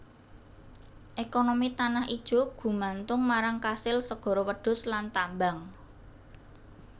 Ekonomi Tanah Ijo gumantung marang kasil segara wedhus lan tambang